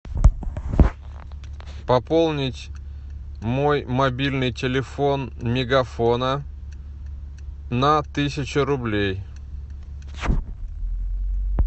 пополнить мой мобильный телефон мегафона на тысячу рублей